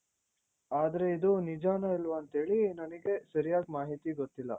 ಆದ್ರೆ ಇದು ನಿಜಾನ ಇಲ್ವಾ ಅಂತ ಹೇಳಿ ನನಿಗೆ ಸರಿಯಾದ ಮಾಹಿತಿ ಗೊತ್ತಿಲ್ಲ.